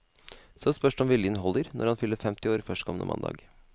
Så spørs det om viljen holder, når han fyller femti år førstkommende mandag.